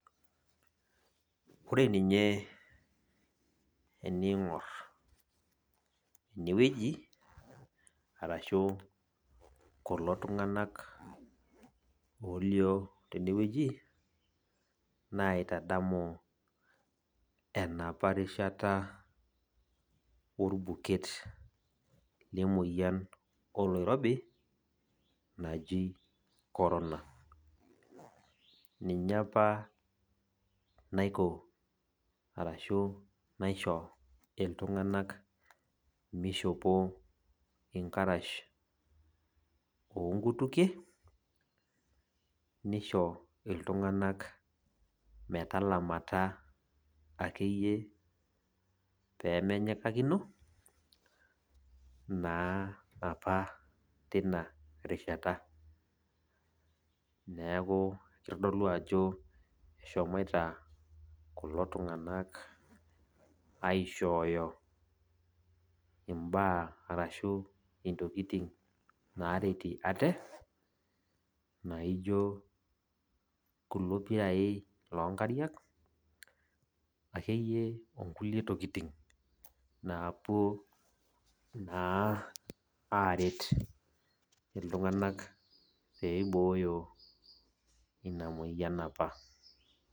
Ore ninye ening'or enewueji, arashu kulo tung'anak olio tenewueji, naitadamu enapa rishata orbuket lemoyian oloirobi naji corona. Ninye apa naiko arashu naisho iltung'anak mishopo inkarash onkutukie, nisho iltung'anak metalamata akeyie pemenyikakino, naa apa tinarishata. Neeku kitodolu ajo eshomoita kulo tung'anak aishooyo imbaa arashu intokiting naretie ate, naijo kulo pirai lonkariak, akeyie okulie tokiting napuo naa aret iltung'anak peibooyo ina moyian apa.